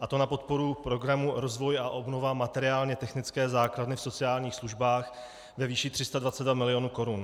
a to na podporu programu Rozvoj a obnova materiálně-technické základny v sociálních službách ve výši 322 milionů korun.